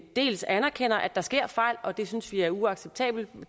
dels anerkender at der sker fejl og det synes vi er uacceptabelt